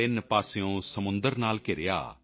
ਤਿੰਨ ਪਾਸਿਓਂ ਸਮੁੰਦਰ ਨਾਲ ਘਿਰਿਆ